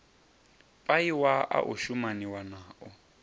paia a o shumaniwa nao